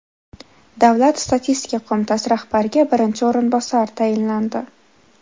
Davlat statistika qo‘mitasi rahbariga birinchi o‘rinbosar tayinlandi.